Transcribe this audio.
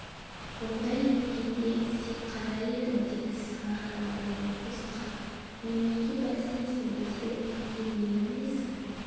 ондай емегенде сен қандай едің деді сыңар танаулай осқырынып неменеге бәлсінесің біз білмейтіндей нені білесің